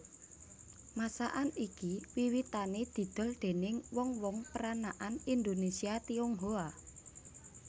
Masakan iki wiwitané didol déning wong wong peranakan Indonésia Tionghoa